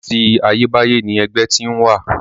Àti ayébáyé ni ẹgbẹ́ ti ń wà.